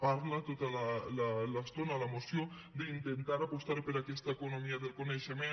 parla tota l’estona la moció d’intentar apostar per aquesta economia del coneixement